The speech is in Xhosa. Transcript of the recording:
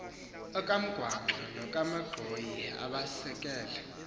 okamgwangqa nokamanxhoyi abaesekele